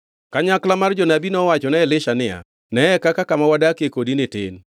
Kanyakla mar jonabi nowachone Elisha niya, “Neye, kaka kama wadakie kodini tin.